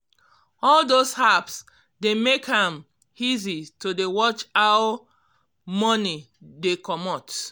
um all those apps dey make am um easy to dey um watch how money watch how money dey comot